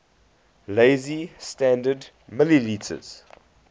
lazy standard ml